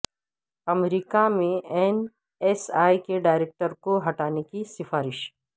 امریکہ میں N S A کے director کو ہٹانے کی سفارش